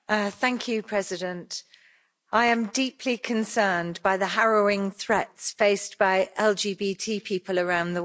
Mr President, I am deeply concerned by the harrowing threats faced by LGBT people around the world.